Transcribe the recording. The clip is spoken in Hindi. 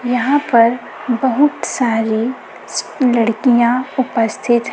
यहां पर बहुत सारी लड़कियां उपस्थित--